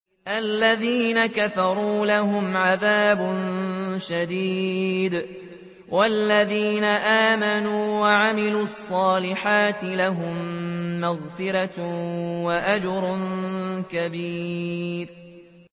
الَّذِينَ كَفَرُوا لَهُمْ عَذَابٌ شَدِيدٌ ۖ وَالَّذِينَ آمَنُوا وَعَمِلُوا الصَّالِحَاتِ لَهُم مَّغْفِرَةٌ وَأَجْرٌ كَبِيرٌ